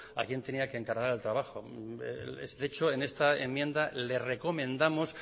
a quien tenía que encargar el trabajo de hecho en esta enmienda le recomendamos